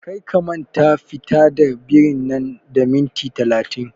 Kar ka manta fita da birin nan da minti talatin!